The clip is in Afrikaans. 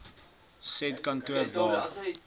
said kantoor waar